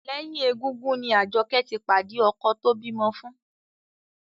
Lẹ́yìn égúngún ni Àjọkẹ́ ti pàdé ọkọ tó bímọ fún